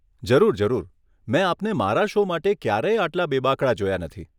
જરૂર, જરૂર, મેં આપને મારા શો માટે ક્યારેય આટલા બેબાકળા જોયા નથી.